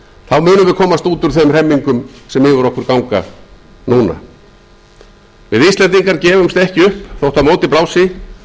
þá munum við komast út úr þeim hremmingum sem yfir okkur ganga nú við íslendingar gefumst ekki upp þótt á móti blási